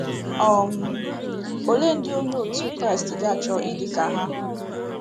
um Ole ndị Onye otu Kraịst ga-achọ ịdị ka ha?